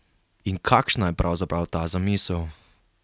In kakšna je pravzaprav ta zamisel?